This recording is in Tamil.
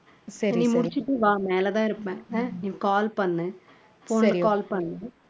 சரி நீ முடிச்சுட்டு வா மேல தான் இருப்பேன் நீ call பண்ணு call பண்ணு